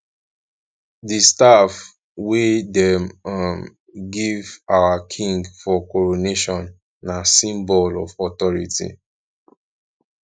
di staff wey dem um give our king for coronation na symbol of authority